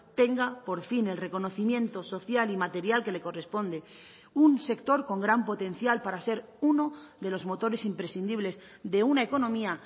tenga por fin el reconocimiento social y material que le corresponde un sector con gran potencial para ser uno de los motores imprescindibles de una economía